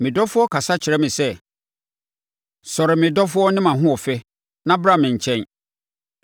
Me dɔfoɔ kasa kyerɛɛ me sɛ, “Sɔre, me dɔfoɔ ne mʼahoɔfɛ na bra me nkyɛn.